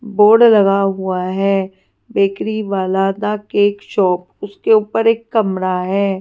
Board लगा हुआ है बेकरी वाला द केक शॉप उसके ऊपर एक कमरा है।